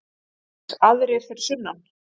JÓHANNES: Aðrir fyrir sunnan!